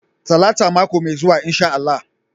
Talata mako mai zuwa insha Allah.